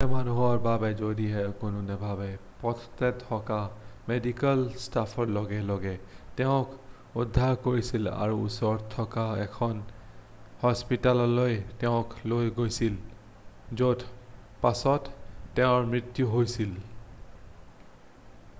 পথতে থকা মেডিকেল ষ্টাফে লগে লগে তেওঁক উদ্ধাৰ কৰিছিল আৰু ওচৰতে থকা এখন হস্পিতাললৈ তেওঁক লৈ গৈছিল য'ত পাছত তেওঁৰ মৃত্যু হৈছিল